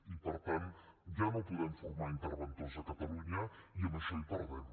i per tant ja no podem formar interventors a catalunya i amb això hi perdem